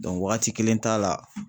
wagati kelen t'a la